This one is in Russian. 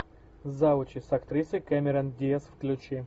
завучи с актрисой кэмерон диаз включи